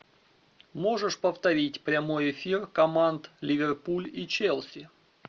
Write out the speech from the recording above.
можешь повторить прямой эфир команд ливерпуль и челси